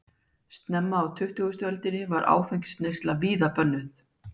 snemma á tuttugustu öldinni var áfengisneysla víða bönnuð